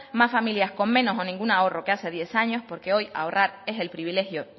más familias con menos o ningún ahorro que hace diez años porque hoy ahorrar es el privilegio